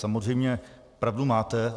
Samozřejmě pravdu máte.